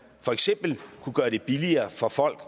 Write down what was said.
for eksempel kunne gøre det billigere for folk